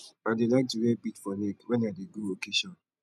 i dey like to wear bead for neck when i dey go occasion